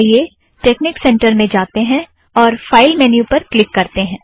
आइए technic center में जाते हैं और फ़ाइल मैन्यू पर क्लिक करते हैं